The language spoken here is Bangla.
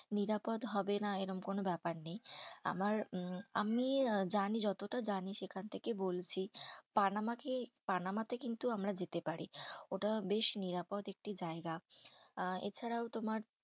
নিরাপদ হবে না এরম কোনো ব্যাপার নেই। আমার উম আমি জানি যতটা জানি সেখান থেকে বলছি, পানামা তে পানামাতে কিন্তু আমরা যেতে পারি। ওটা বেশ নিরাপদ একটি জায়গা। আ এছাড়াও তোমার